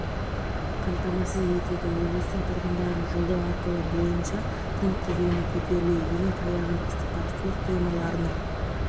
қамтамасыз етеді облыстың тұрғындарын жолдау арқылы бойынша күн қызуының көтерілуі және таяған ыстықтар су қоймаларына